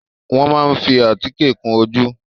Wọ́n máa ń fi àtíkè kun ojú.